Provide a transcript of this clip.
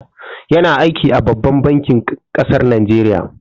Ya na aiki a babban bankin kasar Najeriya